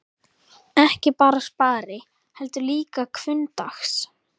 Ekki bara spari, heldur líka hvunndags.